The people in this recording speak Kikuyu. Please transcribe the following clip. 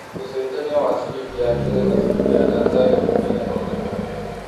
ũcenjanĩa wa ciringi ya Kenya na ciringi ya Tanzania nĩ mũigana ũrikũ